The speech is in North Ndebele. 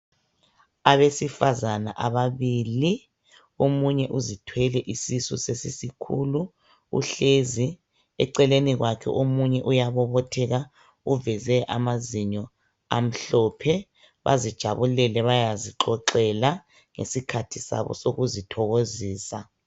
Abesifazana ababili, omunye uzithwele isisu sesisikhulu uhlezi, eceleni kwakhe omunye uyabobotheka uveze amazinyo amhlophe, bazijabulele bayazixoxela ngesikhathi sabo sokuzithokozisa